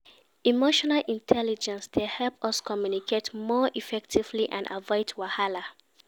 Emotional intelligence dey help us communicate more effectively and avoid wahala.